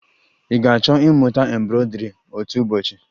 Ị ga-achọ ịmụta embroidri otu ụbọchị?